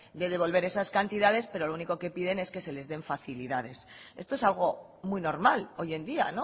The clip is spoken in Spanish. de devolver esas cantidades pero lo único que piden es que se les den facilidades esto es algo muy normal hoy en día